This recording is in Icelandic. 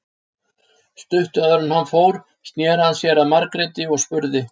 Stuttu áður en hann fór sneri hann sér að Margréti og spurði